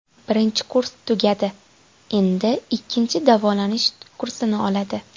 Birinchi kurs tugadi, endi ikkinchi davolanish kursini oladi.